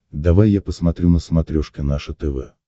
давай я посмотрю на смотрешке наше тв